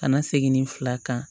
Ka na segin ni fila kan